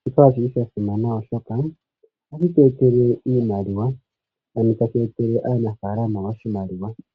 Shika oshi li sha simana, oshoka ohashi tu etele iimaliwa, shono tashi etele aanafalama oshimaliwa.